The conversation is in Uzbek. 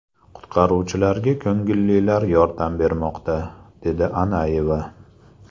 Qutqaruvchilarga ko‘ngillilar yordam bermoqda”, dedi Ananyeva.